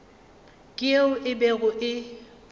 ke yeo e bego e